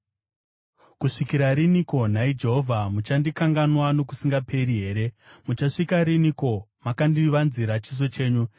Kusvikira riniko, nhai Jehovha? Muchandikanganwa nokusingaperi here? Muchasvika riniko makandivanzira chiso chenyu?